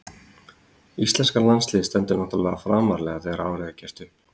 Íslenska landsliðið stendur náttúrlega framarlega þegar árið er gert upp.